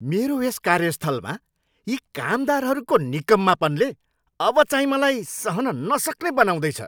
मेरो यस कार्यस्थलमा यी कामदारहरूको निकम्मापनले अब चाहिँ मलाई सहन नसक्ने बनाउँदैछ।